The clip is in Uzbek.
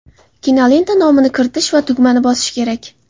Kinolenta nomini kiritish va tugmani bosish kerak.